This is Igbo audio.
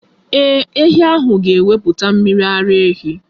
Ee, ehi ahụ ga-ewepụta mmiri ara ehi.